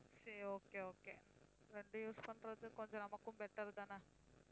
சரி okay okay ரெண்டு use பண்றது கொஞ்சம் நமக்கும் better தானே